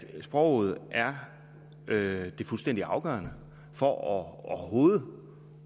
sproget er det fuldstændig afgørende for overhovedet